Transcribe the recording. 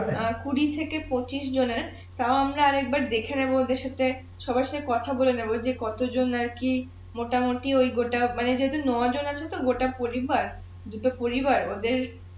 কুঁড়ি থেকে পঁচিশ জনের তাও আমরা আর একবার দেখে নেবো ওদের সাথে সবার সাথে কথা বলে নেবো যে কত জন আর কি মোটামুটি গোটা পরিবার দুটো পরিবার ওদের